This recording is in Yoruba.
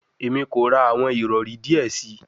Emi ko ra awọn irọri diẹ sii